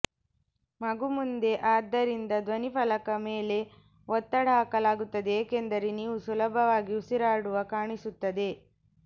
ಮಗು ಮುಂದೆ ಆದ್ದರಿಂದ ಧ್ವನಿಫಲಕ ಮೇಲೆ ಒತ್ತಡ ಹಾಕಲಾಗುತ್ತದೆ ಏಕೆಂದರೆ ನೀವು ಸುಲಭವಾಗಿ ಉಸಿರಾಡುವ ಕಾಣಿಸುತ್ತದೆ